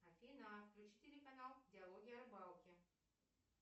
афина включи телеканал диалоги о рыбалке